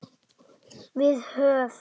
Við höf